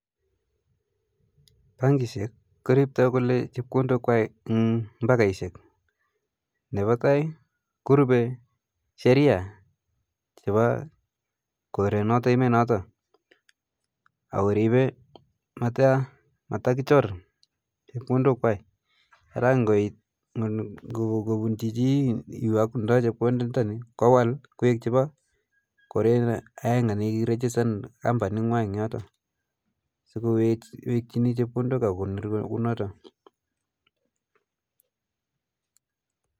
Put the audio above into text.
Bankishek koriptoikole chepkondok kwai eng mbakaishe ,nepa tai korupe sheria chepa koret noto emet noto akoripe matakichor chepkondok kwai ara ngoit kopuchi chi kowal chepkondok ntani kowal koek chepa koret aenge ni kirichistan kampunit negwai eng yoto so kowekchini chepkondok akokonor kunoto